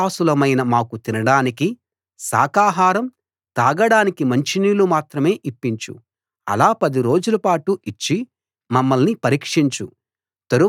నీ దాసులమైన మాకు తినడానికి శాకాహారం తాగడానికి మంచినీళ్లు మాత్రం ఇప్పించు అలా పది రోజులపాటు ఇచ్చి మమ్మల్ని పరీక్షించు